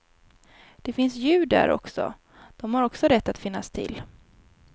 Det finns djur där också, de har också rätt att finnas till.